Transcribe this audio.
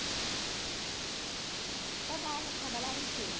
Todas elas trabalharam em firma.